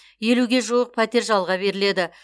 елуге жуық пәтер жалға беріледі